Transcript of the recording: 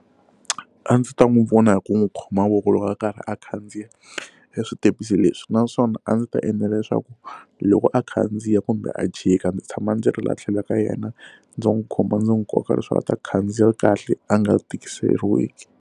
A ndzi ta n'wi vona hi ku n'wi khoma voko loko a karhi a khandziya eswitepisi leswi naswona a ndzi ta endla leswaku loko a khandziya kumbe a jika ndzi tshama ndzi ri laha tlhelo ka yena ndzi n'wi khoma ndzi n'wi koka leswi nga ta khandziya kahle a nga tikiseriwiki.